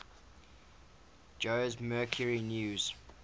jose mercury news